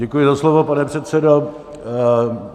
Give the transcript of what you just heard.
Děkuji za slovo, pane předsedo.